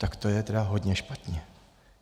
Tak to je tedy hodně špatně.